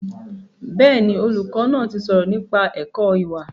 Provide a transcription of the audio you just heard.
Bẹ́ẹ̀ni, olùkọ́ náà ti sọ̀rọ̀ nípa ẹ̀kọ́ ìwà